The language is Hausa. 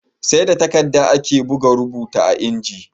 Sai da takadda ake buga rubuta a inji